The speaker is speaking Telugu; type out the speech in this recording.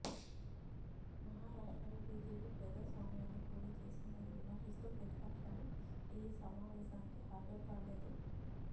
మహారాష్ట్రలో బీజేపీ ప్రజాస్వామ్యాన్ని ఖూనీచేసిందని విమర్శిస్తూ ప్రతి పక్షాలు ఈ సమావేశానికి హాజరుకాలేదు